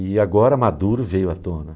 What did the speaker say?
E agora Maduro veio à tona.